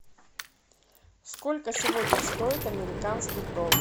сколько сегодня стоит американский доллар